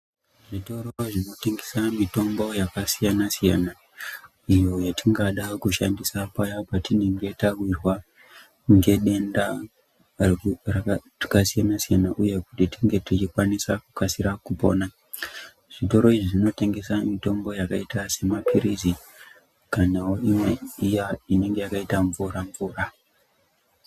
Zvitoro zvinotengese mitombo yakasiyanasiyana iyo yatingada kushandandisa paya patinenge tawirwa ngedenda rakasiyanasiyana uye kuti tinge tichikwanisa kukasira kupona zvitoro izvi zvinotengesa mitombo yakaita semapilizi kanawo imwe iya inenge yakaita mvura-mvura.